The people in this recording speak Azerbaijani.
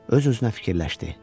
Öz-özünə fikirləşdi: